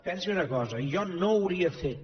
pensi una cosa jo no hauria fet